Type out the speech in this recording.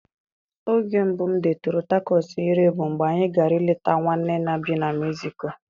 Oge mbụ m detụrụ takọs ire bụ mgbe anyị gara ileta nwanne nna bi na Meziko.